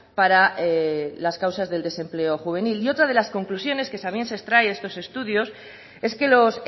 para las causas del desempleo juvenil y otra de las conclusiones que también se extrae de esos estudios es que los